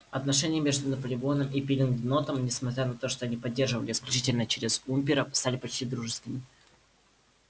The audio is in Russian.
отношения между наполеоном и пилкингтоном несмотря на то что они поддерживались исключительно через уимпера стали почти дружескими